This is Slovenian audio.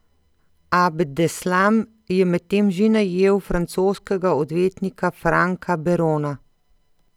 Abdeslam je medtem že najel francoskega odvetnika Franka Berona.